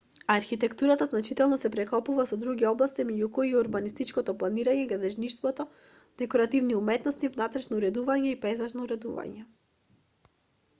архитектурата значително се прекопува со други области меѓу кои и урбанистичко планирање градежништво декоративни уметности внатрешно уредување и пејзажно уредување